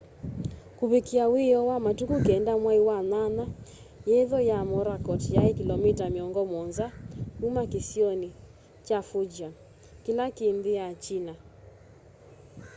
kuvikiia wioo wa matuku 9 mwai wa nyanya yetho ya morakot yai kilomita miongo muonza kuma kĩsionĩ kya fujian kĩla kĩ nthĩ ya china